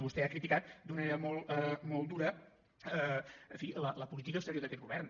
vostè ha criticat d’una manera molt dura en fi la política exterior d’aquest govern